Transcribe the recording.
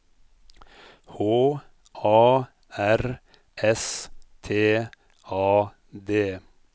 H A R S T A D